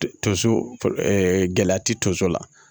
Tonso gɛlɛya ti tonso la